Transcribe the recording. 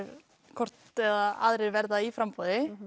hvort eða aðrir verða í framboði